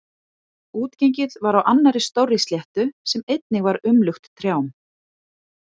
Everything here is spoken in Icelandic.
Útengið var á annarri stórri sléttu sem einnig var umlukt trjám.